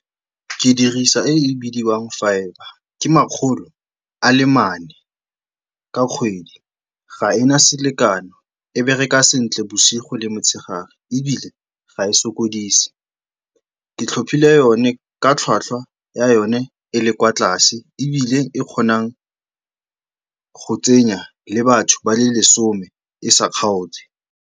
Ke dirisa e e bidiwang fibre, ke makgolo a le mane ka kgwedi, ga ena selekano, e bereka sentle bosigo le motshegare ebile ga e sokodise. Ke tlhophile yone ka tlhwatlhwa ya yone e le kwa tlase ebile e kgonang go tsenya le batho ba le lesome e sa kgaotse.